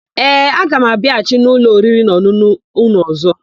Ee, aga m abịaghachi n'ụlọ oririnaọn̄ụn̄ụ ụnụ ọ̀zọ́.